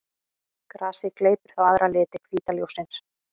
Grasið gleypir þá aðra liti hvíta ljóssins.